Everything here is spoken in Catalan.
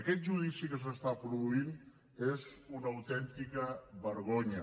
aquest judici que s’està produint és una autèntica vergonya